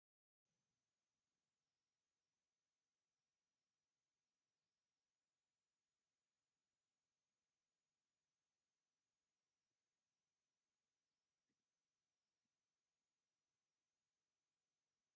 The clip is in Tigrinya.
እቶትና ንህልውናና ዝብል ጋዜጣ ዝተፈላለዩ ዛዕባታት ሒዙ ወፂኡ እኒሀ፡፡ ጋዜጣ ካብ ካልኦት ሚድያታት ብፍላይ ካብ ኤለክትሮኒክ ሚድያ ብምንታይ ምኽንያት ዝበለፀ ክኸውን ይኽእል?